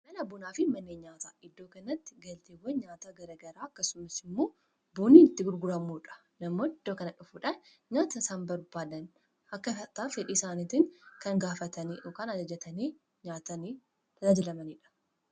Mana bunaa fi manneen nyaataa iddoo kanatti galteewwan nyaata gara garaa akkasumas immoo bunnii itti gurguramuudha namoonni iddoo kana dhufuudhaan nyaata isaan barbaadan akkaataa fedhii isaaniitiin kan gaafatanii yookaan ajajatanii nyaatanii tajaajilamaniidha.